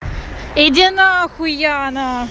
иди нахуй яна